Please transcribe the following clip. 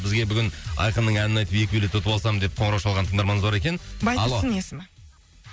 бізге бүгін айқынның әнін айтып екі билет ұтып алсам деп қоңырау шалған тыңдарманымыз бар екен алло байтұрсын есімі